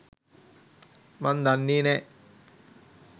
මං දන්නෙ නෑ.